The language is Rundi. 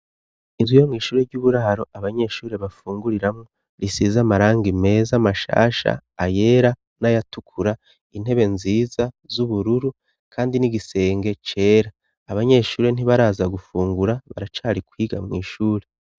Inzu yo mw'ishuri ry'uburaro abanyeshuri bafunguriramwo risiza amarango imeza mashasha ayera n'ayatukura intebe nziza z'ubururu, kandi n'igisenge cera abanyeshuri ntibaraza gufungura baracari kwiga mw'ishuri.